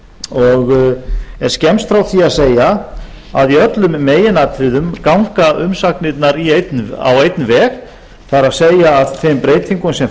og er skemmst frá því að segja að í öllum meginatriðum ganga umsagnirnar á einn veg það er að þeim breytingum sem